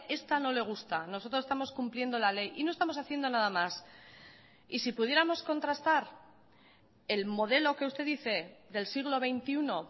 esta no le gusta nosotros estamos cumpliendo la ley y no estamos haciendo nada más y si pudiéramos contrastar el modelo que usted dice del siglo veintiuno